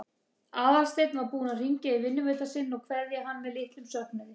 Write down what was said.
Aðalsteinn var búinn að hringja í vinnuveitanda sinn og kveðja hann með litlum söknuði.